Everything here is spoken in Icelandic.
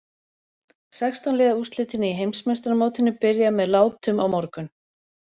Sextán liða úrslitin í Heimsmeistaramótinu byrja með látum á morgun.